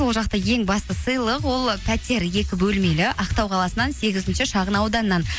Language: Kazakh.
ол жақта ең басты сыйлық ол пәтер екі бөлмелі ақтау қаласынан сегізінші шағын ауданнан